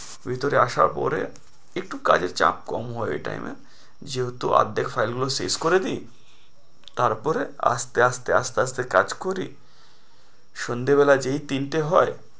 ভিতরে আসার পরে একটু কাজের চাপ কম হয় ওই time এ, যেহেতু অর্ধেক file গুলো শেষ করে দিই, তারপরে আস্তে আস্তে আস্তে আস্তে কাজ করি সন্ধ্যাবেলা যেই তিনটে হয়,